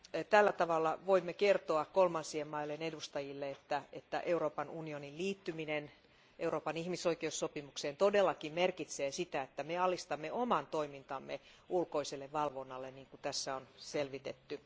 Tällä tavalla voimme kertoa kolmansien maiden edustajille, että Euroopan unionin liittyminen Euroopan ihmisoikeussopimukseen todellakin merkitsee sitä, että me alistamme oman toimintamme ulkoiselle valvonnalle, niin kuin tässä on selvitetty.